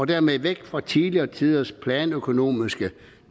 dermed væk fra tidligere tiders planøkonomiske